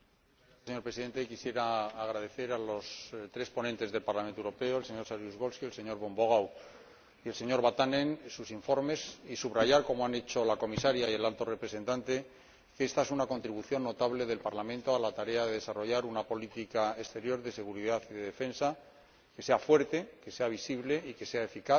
Señor Presidente, quisiera agradecer a los tres ponentes del Parlamento Europeo —el señor Saryusz Wolski, el señor von Wogau y el señor Vatanen— sus informes y subrayar, como han hecho la Comisaria y el Alto Representante, que son una contribución notable del Parlamento a la tarea de desarrollar una política exterior de seguridad y de defensa que sea fuerte, que sea visible, que sea eficaz,